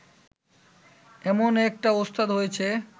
এমন একটা ওস্তাদ হয়েছে